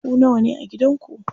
Ku nawane a gidan ku?